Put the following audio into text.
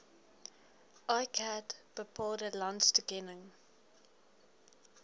iccat bepaalde landstoekenning